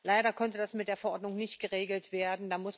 Leider konnte das mit der Verordnung nicht geregelt werden.